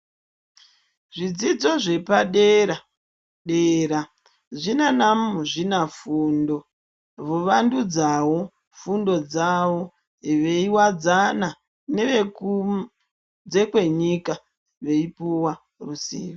Zvidzidzo zvepadera-dera zvinanamuzvinafundo vovandudzawo fundo dzawo fundo dzawo veiwadzana nevekunze kwenyika veipuwa ruzivo.